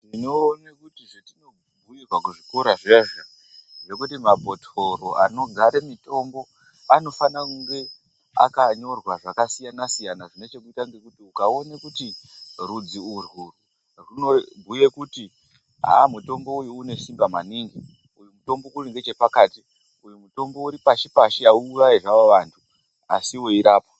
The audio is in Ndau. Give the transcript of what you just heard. Tinoone kuti zvetinobhuyirwa kuzvikora zviya izvi zvekuti mabhotoro anogare mutombo anofana kunge akanyorwa zvakasiyana siyana zvine chekuita ngekuti ukaone kuti rudzi urwu runobhuye kuti haa mutombo uyu une simba maningi, uyu mutombo uri nechepakati, uyu mutombo uri pashi pashi hauurayi hawo vantu asi weirapa.